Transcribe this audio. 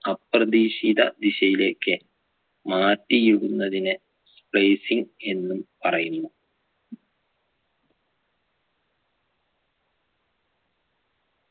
അപ്രതീക്ഷിത ദിശയിലേക്ക് മാറ്റിയിടുന്നതിനെ placing എന്നും പറയുന്നു